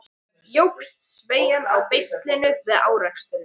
Jókst sveigjan á beislinu við áreksturinn?